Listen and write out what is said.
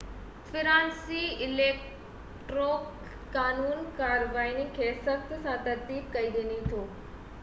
فرانسيسي اليڪٽورل قانون ڪارواين کي سختي سان ترتيب ڏئي ٿو